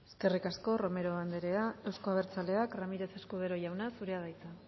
eskerrik asko romero andrea euzko abertzaleak ramirez escudero jauna zurea da hitza